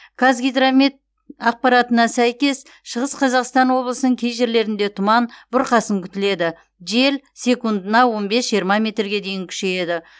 қазгидромет ақпаратына сәйкес шығыс қазақстан облысының кей жерлерінде тұман бұрқасын күтіледі жел секундына он бес жиырма метрге дейін күшейеді